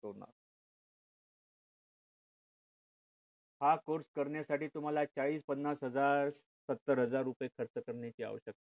हा course करण्यासाठी तुम्हाला चाळीस पन्नास हजार सतार हजार रुपये खर्च करण्याची आवश्यकता नाही